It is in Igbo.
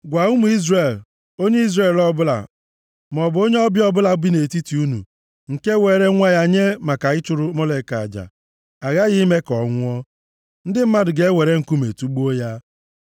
“Gwa ụmụ Izrel, ‘Onye Izrel ọbụla maọbụ onye ọbịa ọbụla bi nʼetiti unu, nke weere nwa ya nye maka ịchụrụ Molek aja, aghaghị ime ka ọ nwụọ. Ndị mmadụ ga-ewere nkume tugbuo ya.